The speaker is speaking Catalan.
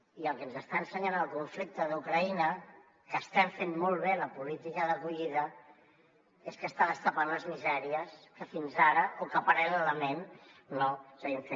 i el que ens està ensenyant el conflicte d’ucraïna que hi estem fent molt bé la política d’acollida és que està destapant les misèries que fins ara o que paral·lelament no seguim fent